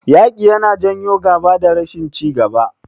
Yaƙi yana janyo gaba da rashin ci gaba.